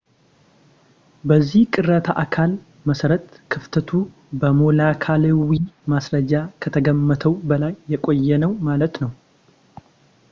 በዚህ ቅሪተ አካል መሰረት ክፍተቱ በሞለኪላዊ ማስረጃ ከተገመተው በላይ የቆየ ነው ማለት ነው